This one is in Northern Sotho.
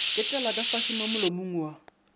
ketlela kafase mo molomo wa